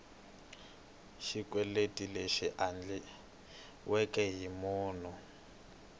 xikweleti lexi endliweke hi munhu